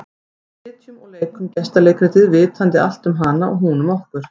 Við sitjum og leikum gestaleikritið, vitandi allt um hana og hún um okkur.